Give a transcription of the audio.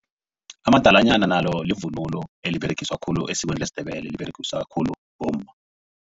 Amadalanyana nalo livunulo eliberegiswa khulu esikweni lesiNdebele liberegiswa khulu bomma.